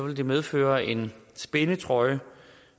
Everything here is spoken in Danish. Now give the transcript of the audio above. det medføre en spændetrøje